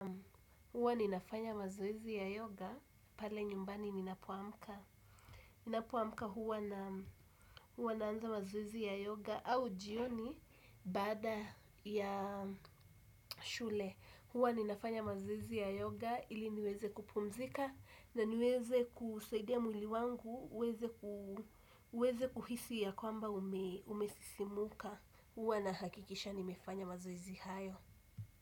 Huwa ninafanya mazoezi ya yoga, pale nyumbani ninapo amka. Ninapo amka huwa naanza mazoezi ya yoga, au jioni, baada ya shule. Huwa ninafanya mazoezi ya yoga, ili niweze kupumzika, na niweze kusaidia mwili wangu, uweze kuhisi ya kwamba umesisimuka. Huwa nahakikisha nimefanya mazoezi hayo.